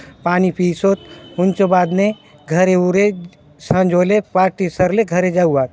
पानी पीउसोतहुन्चो बाद ने घरे उरे संझ होले पार्टी सरले घरे जावात।